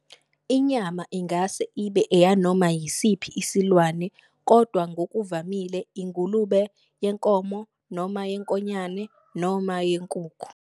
Inyama ingase ibe eyanoma yisiphi isilwane kodwa ngokuvamile ingulube, yenkomo noma yenkonyane, noma yenkukhu.